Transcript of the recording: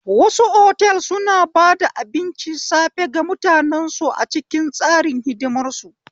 Wasu otel suna bada abincin safe ga mutanen su a cikin tsarin hidimar su